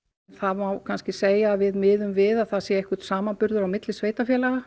það má kannski segja að við miðum við að það sé einhver samanburður á milli sveitarfélaga